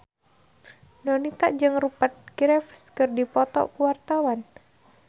Donita jeung Rupert Graves keur dipoto ku wartawan